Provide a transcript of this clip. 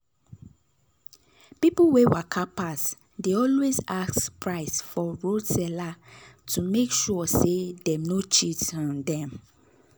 people wey waka pass dey always ask price for roadside seller to make sure say dem no cheat um them.